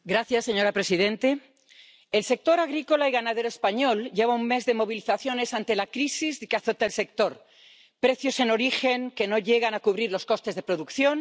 Señora presidente, el sector agrícola y ganadero español lleva un mes de movilizaciones ante la crisis que azota el sector precios en origen que no llegan a cubrir los costes de producción